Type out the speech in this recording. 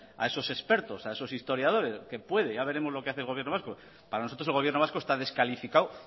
a esos expertos a esos historiadores que puede que ya veremos lo que hace el gobierno vasco para nosotros el gobierno vasco está descalificado